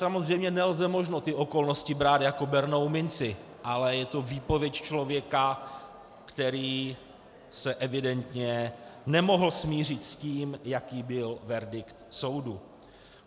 Samozřejmě, není možno ty okolnosti brát jako bernou minci, ale je to výpověď člověka, který se evidentně nemohl smířit s tím, jaký byl verdikt soudu.